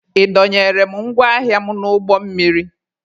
Ị dọnyere m ngwa ahịa m n'ụgbọ mmiri?